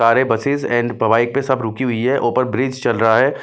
सारे buses and bike पे सब रुकी हुई है ऊपर ब्रिज चल रहा है --